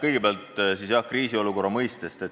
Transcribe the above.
Kõigepealt siis kriisiolukorra mõistest.